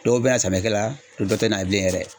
Dɔw bɛ yan samiyɛkɛla dɔw tɛ na bilen yɛrɛ.